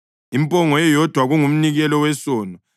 impongo eyodwa kungumnikelo wesono;